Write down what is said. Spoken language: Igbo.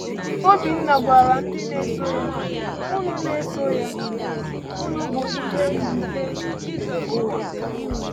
Obinna gwara ndị na-eso ya: Unu na-eso ya: Unu bụ ìhè nke ụwa.